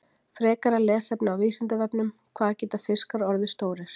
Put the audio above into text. Frekara lesefni á Vísindavefnum: Hvað geta fiskar orðið stórir?